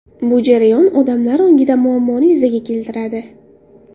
Bu jarayon odamlar ongida muammoni yuzaga keltiradi.